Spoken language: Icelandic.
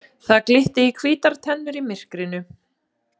Það glitti í hvítar tennurnar í myrkrinu.